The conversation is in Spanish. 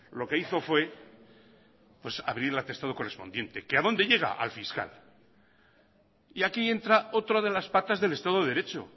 lo que hizo fue pues abrir el atestado correspondiente que a dónde llega al fiscal y aquí entra otra de las patas del estado de derecho